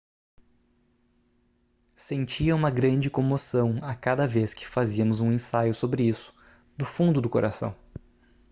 sentia uma grande comoção a cada vez que fazíamos um ensaio sobre isso do fundo do coração